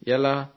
ఎప్పుడు